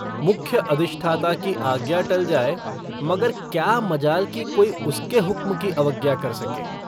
मुख्य अधिष्ठाता की आज्ञा टल जाए मगर क्या मजाल कि कोई उसके हुक्म की अवज्ञा कर सके।